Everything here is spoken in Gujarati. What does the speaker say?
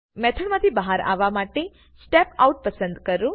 મેથડ માંથી બાહાર આવવા માટે step આઉટ પસંદ કરો